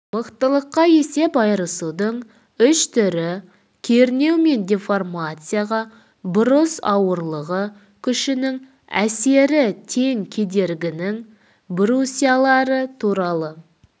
мықтылыққа есеп айырысудың үш түрі кернеу мен деформацияға брус ауырлығы күшінің әсері тең кедергінің брусьялары туралы